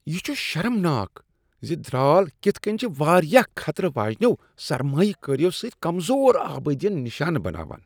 یہ چھ شرمناک ز درٛال کتھہٕ کٕنۍ چھ وارِیاہ خطرٕ واجنٮ۪و سرمایہ کٲریو سۭتۍ کمزور آبٲدین نِشانہٕ بناوان ۔